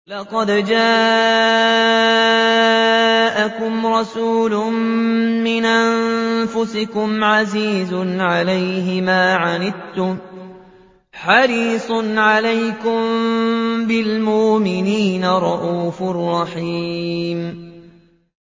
لَقَدْ جَاءَكُمْ رَسُولٌ مِّنْ أَنفُسِكُمْ عَزِيزٌ عَلَيْهِ مَا عَنِتُّمْ حَرِيصٌ عَلَيْكُم بِالْمُؤْمِنِينَ رَءُوفٌ رَّحِيمٌ